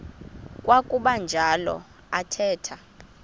kwakuba njalo athetha